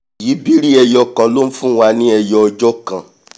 ìyíbiri ẹyo kan ló nfúnwa ni ẹyọ ọjọ́ kan